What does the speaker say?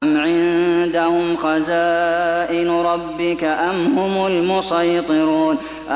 أَمْ عِندَهُمْ خَزَائِنُ رَبِّكَ أَمْ هُمُ الْمُصَيْطِرُونَ